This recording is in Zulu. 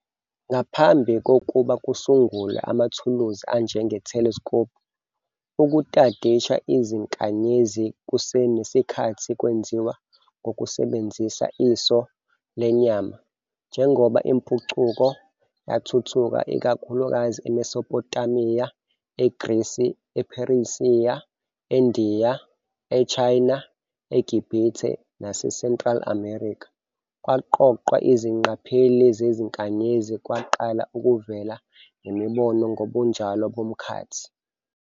Ngaphambi kokuba kusungulwe amathuluzi anjenge-telescope, ukutadisha izinkanyezi kusenesikhathi kwenziwa ngokusebenzisa iso lenyama. Njengoba impucuko yathuthuka, ikakhulukazi eMesopotamiya, eGrisi, ePersia, eNdiya, eChina, eGibhithe naseCentral America, kwaqoqwa izingqapheli zezinkanyezi kwaqala ukuvela nemibono ngobunjalo bomkhathi.